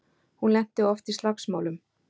Hún lenti oft í slagsmálum.